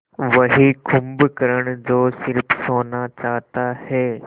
वही कुंभकर्ण जो स़िर्फ सोना चाहता है